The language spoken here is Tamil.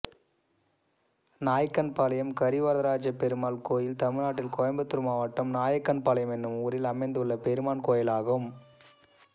நாயக்கன்பாளையம் கரிவரதராஜப்பெருமாள் கோயில் தமிழ்நாட்டில் கோயம்புத்தூர் மாவட்டம் நாயக்கன்பாளையம் என்னும் ஊரில் அமைந்துள்ள பெருமாள் கோயிலாகும்